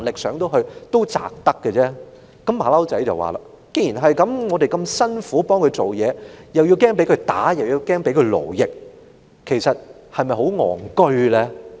"小猴子接着說："既然如此，我們這麼辛苦替他工作，又要害怕被他暴打和勞役，其實是否很愚蠢呢？